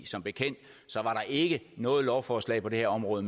som bekendt ikke noget lovforslag på det her område